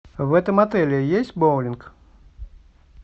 в этом отеле есть боулинг